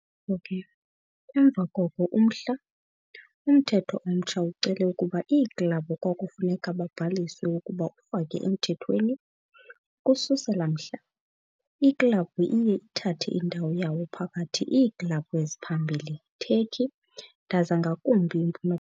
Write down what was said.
ko ke, emva koko umhla, umthetho omtsha ucele ukuba iiklabhu kwakufuneka babhaliswe ukuba ufake emthethweni. Ukususela mhla, iklabhu iye uthathe indawo yawo phakathi iiklabhu eziphambili Turkey ndaza ngakumbi yimpum.